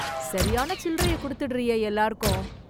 சரியான சில்லறைய கொடுத்துடுறியே எல்லாருக்கும்!